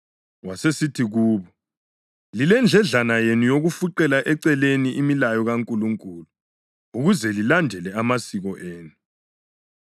Wasesithi kubo, “Lilendledlana yenu yokufuqela eceleni imilayo kaNkulunkulu ukuze lilandele amasiko enu!